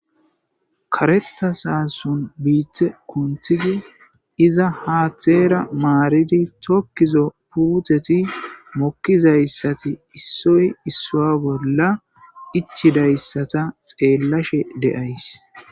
Kareta saason biitte kunthidi iza haatheera maaridi tokkizo puuteti mokkizayssati issoy issoa bolla ichidayssata xeellashe deays